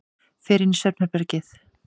Fer inn í svefnherbergið.